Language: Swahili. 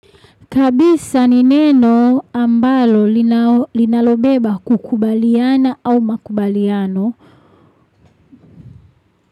Kabisa ni neno ambalo linalobeba kukubaliana au makubaliano.